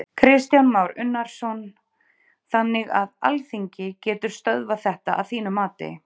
Kristján Már Unnarsson: Þannig að Alþingi getur stöðvað þetta að þínu mati?